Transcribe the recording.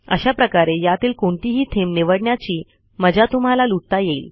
अशाप्रकारे यातील कोणतीही थीम निवडण्याची मजा तुम्हाला लुटता येईल